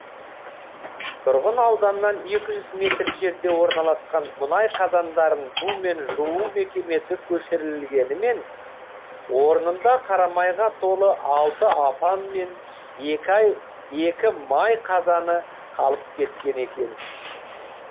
тұрғын ауданнан екі жүз метр жерде орналасқан мұнай қазандарын бумен жуу мекемесі көшірілгенімен орнында қарамайға толы алты апан мен екі май қазаны қалып кеткен екен